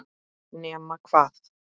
Nema hvað!?!